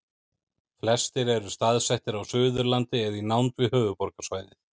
flestir eru staðsettir á suðurlandi eða í nánd við höfuðborgarsvæðið